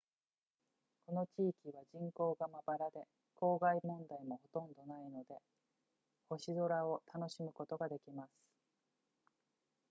この地域は人口がまばらで光害問題もほとんどないので星空を楽しむことができます